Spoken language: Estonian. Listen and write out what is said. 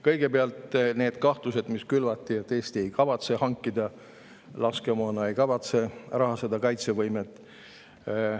Kõigepealt need kahtlused, mis külvati, et Eesti ei kavatse hankida laskemoona ega rahastada kaitsevõimet.